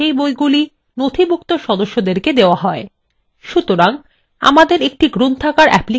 সুতরাং আমাদের একটি library application প্রয়োজন so বই এবং সদস্যদের তালিকা বজায় রাখবে